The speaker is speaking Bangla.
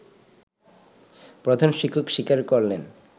প্রধান শিক্ষক স্বীকার করলেন